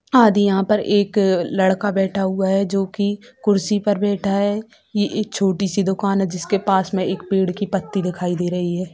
आदि यहाँ पर एक लड़का बैठा हुआ है जो की कुर्सी पर बैठा है ये एक छोटी सी दुकान है जिसके पास मे पेड़ की पत्ती दिखाई दे रही है।